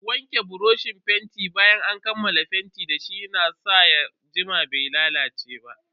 Wanke buroshin fenti bayan an kammala fenti dashi ya na sa ya jima bai lalace ba.